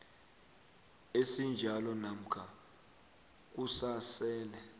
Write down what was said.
esinjalo namkha kusasele